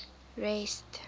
rest